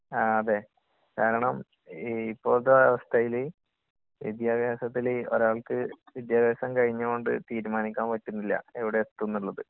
ങാ..അതെ..കാരണം ഇപ്പോഴത്തെ അവസ്ഥയില് വിദ്യാഭ്യാസത്തില്..ഒരാൾക്ക് വിദ്യാഭ്യാസം കഴിഞ്ഞോണ്ട് തീരുമാനിക്കാൻ പറ്റുന്നില്ല എവിടെ എത്തുംനുള്ളത്.